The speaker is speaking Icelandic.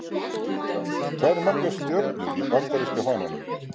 Hvað eru margar stjörnur í Bandaríska fánanum?